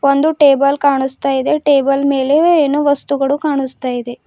ಒಂದು ಟೇಬಲ್ ಕಾಣಸ್ತಾ ಇದೆ ಟೇಬಲ್ ಮೇಲೆ ಏನೋ ವಸ್ತುಗಳು ಕಾಣಸ್ತಾ ಇದೆ.